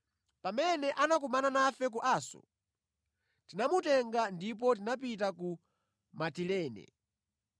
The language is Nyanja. Pamene anakumana nafe ku Aso tinamutenga ndipo tinapita ku Mitilene.